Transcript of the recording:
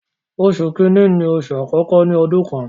Oṣù kìíní ni oṣù àkọ́kọ́ nínú ọdún kan.